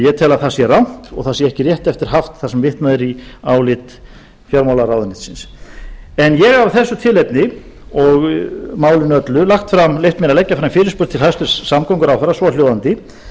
ég tel að það sé rangt og það sé ekki rétt eftir haft þar sem vitnað er í álit fjármálaráðuneytisins en ég af þessu tilefni og málinu öllu hef leyft mér að leggja fram fyrirspurn til hæstvirts samgönguráðherra svohljóðandi